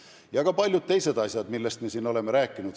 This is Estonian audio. Ja on olnud palju muidki asju, millest me siin oleme rääkinud.